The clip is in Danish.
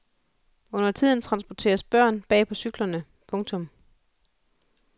Undertiden transporteres børn bag på cyklerne. punktum